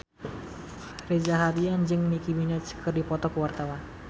Reza Rahardian jeung Nicky Minaj keur dipoto ku wartawan